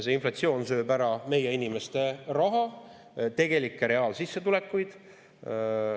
See inflatsioon sööb ära meie inimeste raha, reaalsissetulekuid.